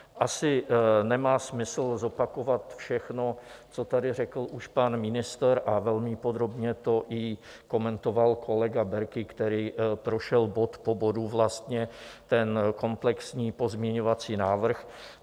Asi nemá smysl zopakovat všechno, co tady řekl už pan ministr, a velmi podrobně to i komentoval kolega Berki, který prošel bod po bodu vlastně ten komplexní pozměňovací návrh.